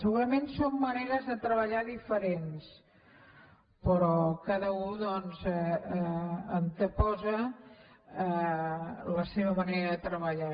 segurament són maneres de treballar diferents però cada u doncs anteposa la seva manera de treballar